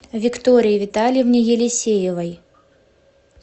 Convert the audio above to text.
виктории витальевне елисеевой